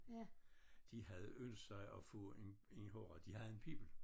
De havde ønsket sig at få en en håbe de havde en pibel